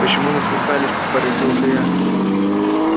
почему насмехались поразился я